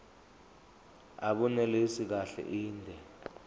abunelisi kahle inde